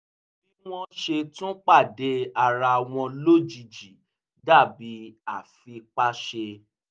bí wọ́n ṣe tún pàdé ara wọn lójijì dàbí àfipáṣe